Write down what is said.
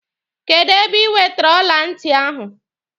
Kedụ ebe ị wetere ọla ntị ahụ?